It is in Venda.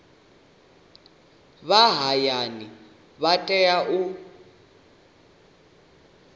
vha hayani vha tea u